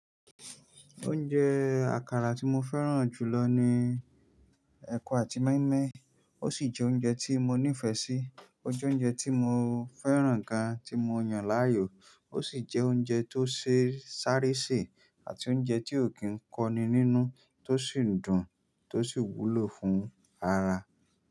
Oúnjẹ àkàrà tí mo fẹ́ràn jù lọ ni ẹ̀kọ àti mọ́ímọ́í, ó sì jẹ́ oúnjẹ tí mo nífẹ̀ẹ́ sí. Ó jẹ́ oúnjẹ tí mo fẹ́ràn gan tí mo yan láàyò, ó sì jẹ́ oúnjẹ tó ṣe sáre se àti oúnjẹ tí ò kí ń kọ́ni nínú tó sì dùn tó sì wúlò fún ara.